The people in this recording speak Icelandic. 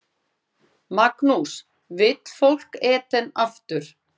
Magnús: Vill fólk Eden aftur?